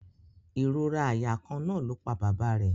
Ìrora àyà kan náà ló pa bàbá rẹ̀